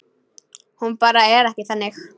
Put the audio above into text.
Hún bara er ekki þannig.